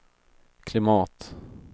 klimat